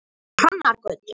Hrannargötu